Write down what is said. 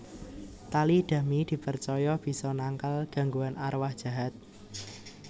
Tali dami dipercaya bisa nangkal gangguan arwah jahat